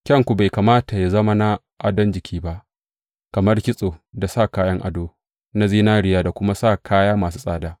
Kyanku bai kamata yă zama na adon jiki ba, kamar kitso da sa kayan ado na zinariya da kuma sa kaya masu tsada.